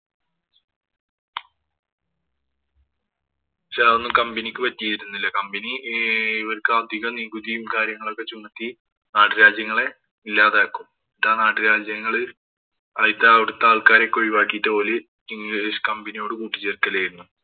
പക്ഷേ അതൊന്നും company ക്ക് പറ്റിയിരുന്നില്ല. Company ഇവര്‍ക്ക് അധിക നികുതിയും, കാര്യങ്ങളുമൊക്കെ ചുമത്തി നാട്ടുരാജ്യങ്ങളെ ഇല്ലാതാക്കും. എന്നിട്ട് ആ നാട്ടുരാജ്യങ്ങള് ഒഴിവാക്കിട്ട് ഓര് ഇംഗ്ലീഷ് company യോട് കൂട്ടിചേര്‍ക്കലായിരുന്നു.